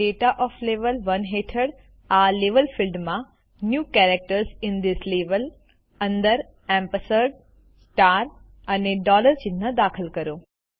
હવે data of level 1 હેઠળ આ લેવલ ફિલ્ડમાં ન્યૂ કેરેક્ટર્સ અંદર એમ્પર્સંદ સ્ટાર અને ડોલર ચિહ્ન દાખલ કરો